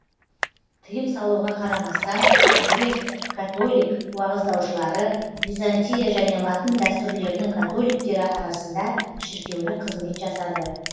тиым салуға қарамастан грек католик уағыздаушылары византия және латын дәстүрлерінің католиктері арасында шіркеулік қызмет жасады